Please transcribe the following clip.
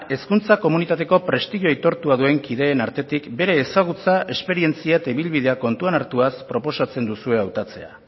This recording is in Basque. hezkuntza komunitateko prestigio aitortu duen kideen artetik bere ezagutza esperientzia eta ibilbidea kontuan hartuaz proposatzen duzue hautatzea